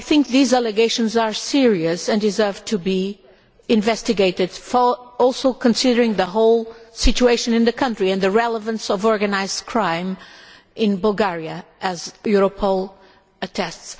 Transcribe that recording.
These allegations are serious and deserve to be investigated, considering the whole situation in the country, and the relevance of organised crime in Bulgaria, as Europol attests.